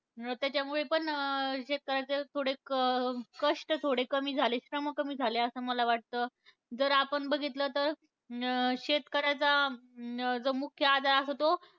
त्याच्यामुळे पण अं शेतकऱ्यांचे थोडे क कष्ट थोडे कमी झाले, श्रम कमी झाले असं मला वाटतं. जर आपण बघितलं तर, अं शेतकऱ्यांचा अं जो मुख्य आधार असतो तो,